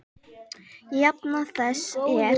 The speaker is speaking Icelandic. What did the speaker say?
Jafna þess er